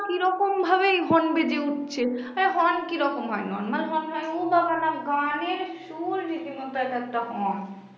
এই horn বেজে উঠছে অরে horn কিরকম হয় normal horn হয় উঃ বাবা না গানের সুর রীতিমতো একেকটা horn